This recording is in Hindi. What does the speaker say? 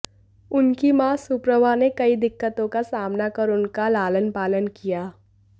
उनकी मां सुप्रभा ने कई दिक्कतों का सामना कर उनका लालन पालन किया